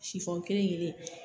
Sifɔn kelen kelen.